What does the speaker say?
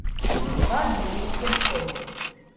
Čez dva dni je shodil.